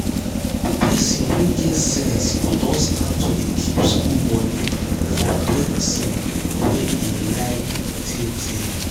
person wey get sense go don start to dey keep school money for person wey e like tey tey.